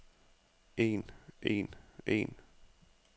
en en en